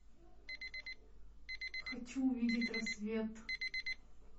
хочу увидеть рассвет